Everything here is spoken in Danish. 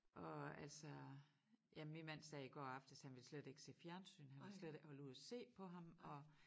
Og altså ja min mand sagde i går aftes han ville slet ikke se fjernsyn han kunne slet ikke holde ud at se på ham og